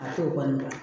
A t'o kɔni dɔn